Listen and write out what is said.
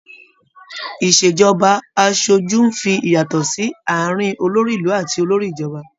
Ìṣèjọba aṣojú ń fi ìyàtò sí àárín olórí ìlú àti olórí ìjọba.